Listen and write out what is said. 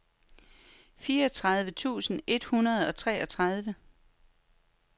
fireogtredive tusind et hundrede og treogtredive